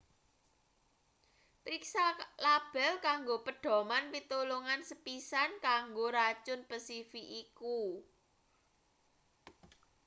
priksa label kanggo pedhoman pitulungan sepisan kanggo racun pesifik iku